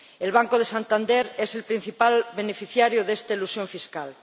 El Banco de Santander es el principal beneficiario de esta elusión fiscal.